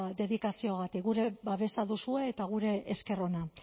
dedikazioagatik gure babesa duzue eta gure esker ona